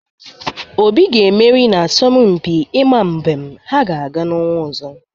Obi ga-emeri n'asompi ịma mbem ha ga-aga n'ọnwa ọzọ.